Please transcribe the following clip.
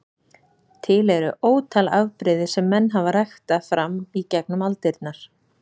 Til eru ótal afbrigði sem menn hafa ræktað fram í gegnum aldirnar.